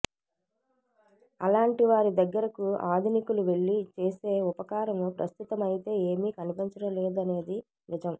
అలాంటి వారి దగ్గరకు ఆధునికులు వెళ్లి చేసే ఉపకారం ప్రస్తుతమైతే ఏమీ కనిపించడం లేదనేది నిజం